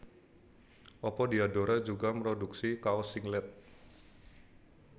Apa Diadora juga mroduksi kaos singlet